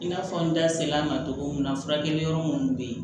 I n'a fɔ n da sel'a ma togo min na furakɛli yɔrɔ munnu be ye